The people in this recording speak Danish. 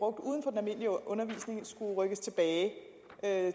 at undervisning skulle rykkes tilbage